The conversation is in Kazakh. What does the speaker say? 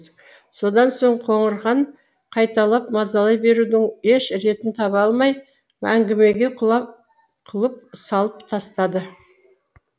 содан соң қоңырхан қайталап мазалай берудің еш ретін таба алмай әңгімеге құлып салып тастады